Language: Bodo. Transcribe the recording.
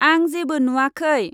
आं जेबो नुवाखै।